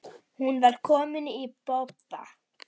Hún var komin í bobba.